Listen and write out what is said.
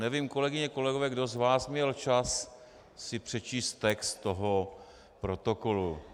Nevím, kolegyně, kolegové, kdo z vás měl čas si přečíst text toho protokolu.